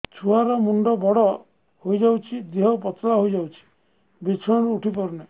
ଛୁଆ ର ମୁଣ୍ଡ ବଡ ହୋଇଯାଉଛି ଦେହ ପତଳା ହୋଇଯାଉଛି ବିଛଣାରୁ ଉଠି ପାରୁନାହିଁ